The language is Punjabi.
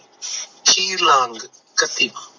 ਸ਼ੀਰ ਲਾਂਗ ਕਤੀ